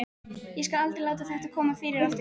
Ég skal aldrei láta þetta koma fyrir aftur.